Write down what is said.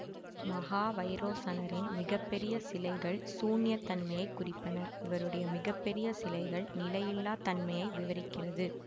மஹாவைரோசனரின் மிக பெறிய சிலைகள் சூன்யத்தன்மையை குறிப்பன இவருடைய மிக பெறிய சிலைகள்நிலையில்லாத்தன்மையை விவரிக்கிறது